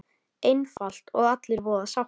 Einfalt og allir voða sáttir!